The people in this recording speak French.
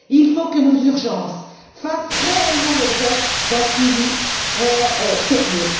Il faut que nos urgences fassent réellement l'objet d'un suivi sérieux.